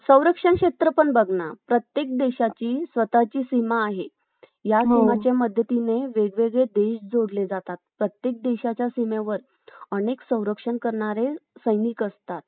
व्यक्ती समाज हे इतिहासातील चार रोख आधारस्तंभ आहेत. या चार घटकांशिवाय इतिहास केला जाऊ शकत नाही यांपैकी स्थल हा